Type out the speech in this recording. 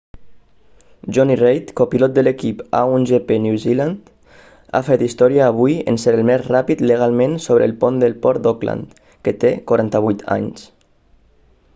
jonny reid copilot de l'equip a1gp new zealand ha fet història avui en ser el més ràpid legalment sobre el pont del port d'auckland que té 48 anys